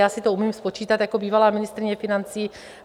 Já si to umím spočítat jako bývalá ministryně financí.